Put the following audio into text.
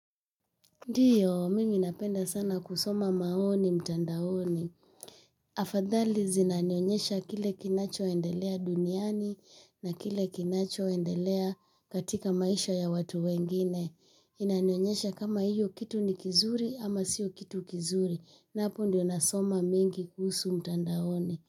Ndiyo, mimi napenda sana kusoma maoni mtandaoni. Afadhali zinanionyesha kile kinacho endelea duniani na kile kinacho endelea katika maisha ya watu wengine. Inanionyesha kama hiyo kitu ni kizuri ama siyo kitu kizuri. Na hapo ndiyo nasoma mingi kuhusu mtandaoni.